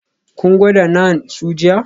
Kun gwada naan su jiya?